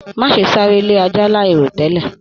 Má ṣe sáré lé ajá láì ro tẹlẹ!